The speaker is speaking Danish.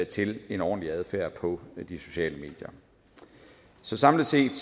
til en ordentlig adfærd på de sociale medier så samlet set